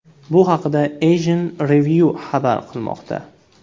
Bu haqda Asian Review xabar qilmoqda .